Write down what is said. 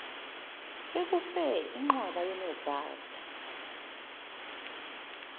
sekufe inqwaba yonogada